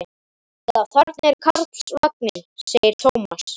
Já, þarna er Karlsvagninn, segir Tómas.